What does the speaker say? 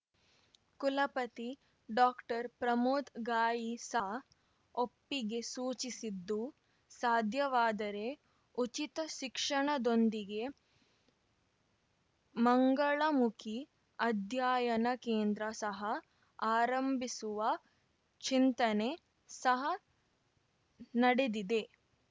ಕುಲಪತಿ ಡಾಕ್ಟರ್ ಪ್ರಮೋದ್ ಗಾಯಿ ಸಹ ಒಪ್ಪಿಗೆ ಸೂಚಿಸಿದ್ದು ಸಾಧ್ಯವಾದರೆ ಉಚಿತ ಶಿಕ್ಷಣದೊಂದಿಗೆ ಮಂಗಳಮುಖಿ ಅಧ್ಯಯನ ಕೇಂದ್ರ ಸಹ ಆರಂಭಿಸುವ ಚಿಂತನೆ ಸಹ ನಡೆದಿದೆ